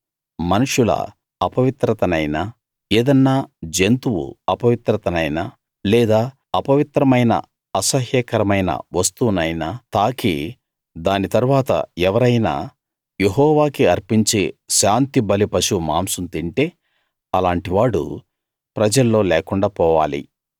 మనుష్యుల అపవిత్రతనైనా ఏదన్నా జంతువు అపవిత్రతనైనా లేదా అపవిత్రమైన అసహ్యకరమైన వస్తువునైనా తాకి దాని తరువాత ఎవరైనా యెహోవాకి అర్పించే శాంతిబలి పశువు మాంసం తింటే అలాంటి వాడు ప్రజల్లో లేకుండా పోవాలి